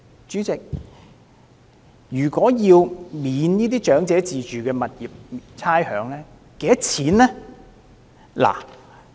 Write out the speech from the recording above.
主席，若要寬免長者自住物業差餉，需要多少成本？